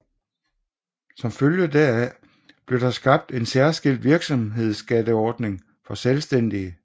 Som følge heraf blev der skabt en særskilt virksomhedsskatteordning for selvstændige